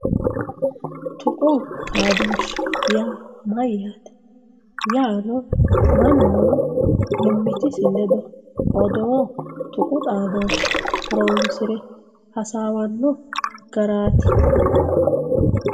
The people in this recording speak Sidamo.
tuqu xaadooshshe yaa mayyaate. yaano mannu mimmitisi ledo odoo tuqu xaadooshshe horoonsire hasaawanno garaati.